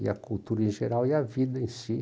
E a cultura em geral e a vida em si.